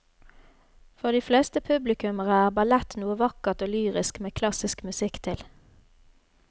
For de fleste publikummere er ballett noe vakkert og lyrisk med klassisk musikk til.